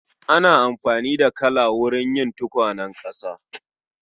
Ana buƙatar laka wurin yin tukwanen ƙasa